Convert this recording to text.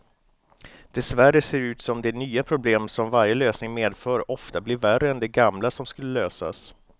Dessvärre ser det ut som de nya problem som varje lösning medför ofta blir värre än de gamla som skulle lösas.